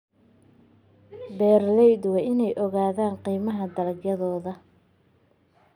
Beeraleydu waa inay ogaadaan qiimaha dalagyadooda.